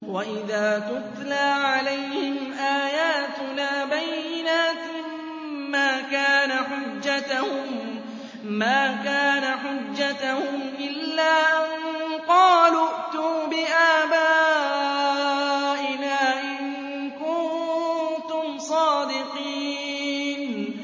وَإِذَا تُتْلَىٰ عَلَيْهِمْ آيَاتُنَا بَيِّنَاتٍ مَّا كَانَ حُجَّتَهُمْ إِلَّا أَن قَالُوا ائْتُوا بِآبَائِنَا إِن كُنتُمْ صَادِقِينَ